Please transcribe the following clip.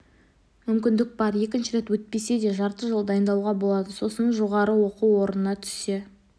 мүмкіндік бар екінші рет өтпесе де жарты жыл дайындалуға болады сосын жоғары оқу орнына түсе